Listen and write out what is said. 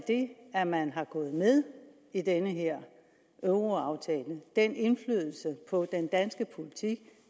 det at man er gået med i den her euroaftale den indflydelse på den danske politik